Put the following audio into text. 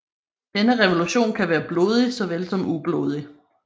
Denne revolution kan være blodig såvel som ublodig